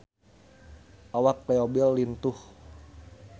Awak Leo Bill lintuh